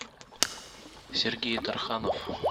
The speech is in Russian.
сергей тарханов